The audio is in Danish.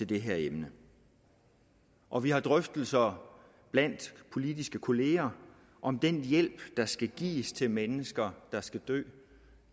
det her emne og vi har drøftelser blandt politiske kollegaer om den hjælp der skal gives til mennesker der skal dø